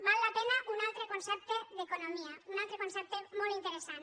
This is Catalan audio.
val la pena un altre concepte d’economia un altre concepte molt interessant